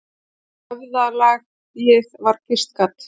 Við höfðalagið var kvistgat.